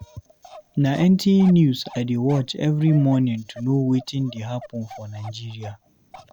Na NTA news I dey watch every morning to know watin dey happen for Nigeria.